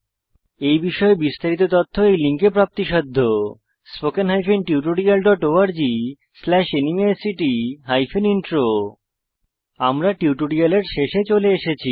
এই বিষয়ে বিস্তারিত তথ্য এই লিঙ্কে প্রাপ্তিসাধ্য httpspoken tutorialorgNMEICT Intro আমরা টিউটোরিয়ালের শেষে চলে এসেছি